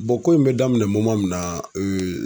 ko in be daminɛ mun na